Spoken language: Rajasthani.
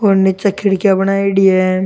और निचे खिड़किया बनायेडी है।